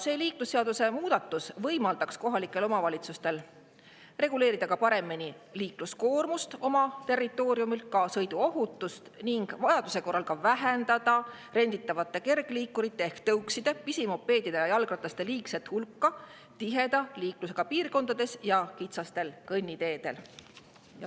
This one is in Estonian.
See liiklusseaduse muudatus võimaldaks kohalikel omavalitsustel oma territooriumil paremini reguleerida liikluskoormust, ka sõiduohutust, ning vajaduse korral vähendada renditavate kergliikurite ehk tõukside, pisimopeedide ja jalgrataste liigset hulka tiheda liiklusega piirkondades ja kitsastel kõnniteedel.